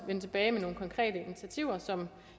vende tilbage med nogle konkrete initiativer som